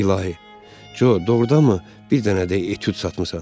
İlahi, Co, doğurdanmı bir dənə də etüd satmısan?